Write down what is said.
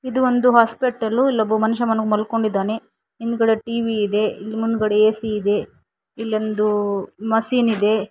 ಇದು ಒಂದು ಹಾಸ್ಪಿಟಲ್ಲು ಇನ್ನೊಬ್ಬ ಮನುಷ್ಯ ಮಲ್ಕೊಂಡಿದ್ದಾನೆ ಹಿಂದ್ಗಡೆ ಟಿ_ವಿ ಇದೆ ಮುಂದ್ಗಡೆ ಎ_ಸಿ ಇದೆ ಇಲ್ಲೊಂದು ಮಸೀನ್ ಇದೆ.